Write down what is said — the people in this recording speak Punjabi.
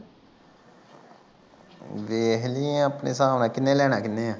ਦੇਖ ਲਈ ਆਪਣੇ ਹਿਸਾਬ ਨਾਲ ਕਿਹਨੇ ਲੈਣਾ ਕਿਹਨੇ